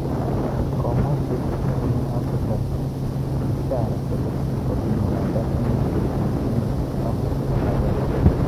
Komwo shekh nebunu Afrika Bishara kole kogimuratan ine kotinye kenyisyek taman ak agenge